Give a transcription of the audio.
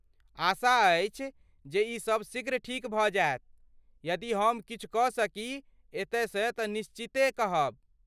आशा अछि जे ई सब शीघ्र ठीक भऽ जायत, यदि हम किछु कऽ सकी एतय सँ तँ निश्चिते कहब।